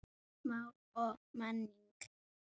Mál og menning